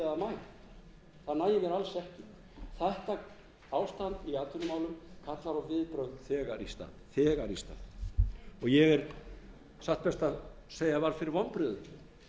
í atvinnumálum kallar á viðbrögð þegar í stað og ég satt best að segja varð fyrir vonbrigðum með afstöðu einstakra nefndarmanna í sjávarútvegsnefnd